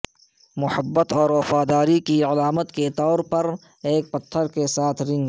محبت اور وفاداری کی علامت کے طور پر ایک پتھر کے ساتھ رنگ